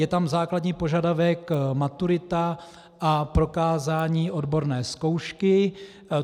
Je tam základní požadavek maturita a prokázání odborné zkoušky.